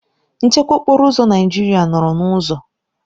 Nchekwa okporo ụzọ Naijiria nọrọ n'ụzọ